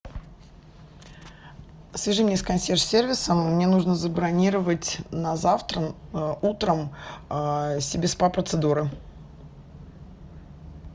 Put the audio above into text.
свяжи меня с консьерж сервисом мне нужно забронировать на завтра утром себе спа процедуры